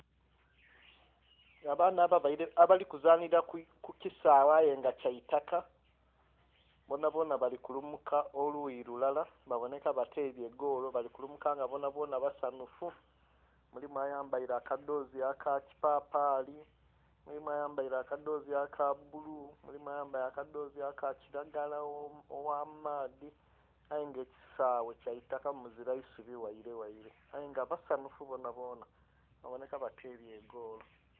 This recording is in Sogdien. Abaana abali kuzanhira kukisaghe ayenga kyaitaka bonha bonha bali kulumuka oluuyi lulala babonheka batebye golo bali kulumuka nga bonha bonha basanhufu, mulimu ayambere akadhozi akakipapali , mulimu ayambere akadhozi kabbulu, mulimu ayambere akadhozi akakiragala oghamaadhi ayenga ekisaghe kyaitaka muzira isubi ghaile ghaile ayenga basanhufu bonha bonha babonheka batebye egolo.